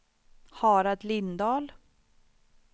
Harald Lindahl